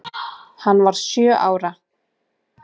Hann var sjö ára.